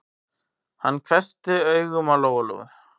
Hann hvessti augun á Lóu-Lóu.